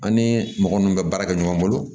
An ni mɔgɔ minnu bɛ baara kɛ ɲɔgɔn bolo